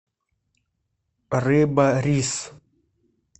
рыба рис